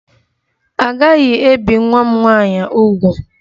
A gaghị ebi nwa m nwaanyị úgwù!